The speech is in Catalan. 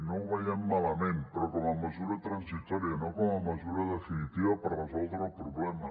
no ho veiem malament però com a mesura transitòria no com a mesura definitiva per resoldre el problema